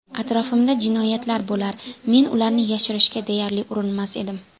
Atrofimda jinoyatlar bo‘lar, men ularni yashirishga deyarli urinmas edim.